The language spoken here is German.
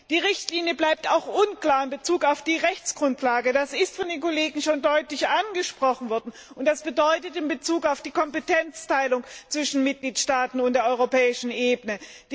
Die Richtlinie bleibt auch unklar in Bezug auf die Rechtsgrundlage das ist von den Kollegen schon deutlich angesprochen worden also im Bezug auf die Kompetenzteilung zwischen Mitgliedstaaten und der europäischen Ebene.